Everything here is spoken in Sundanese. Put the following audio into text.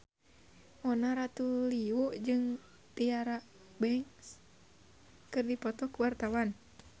Mona Ratuliu jeung Tyra Banks keur dipoto ku wartawan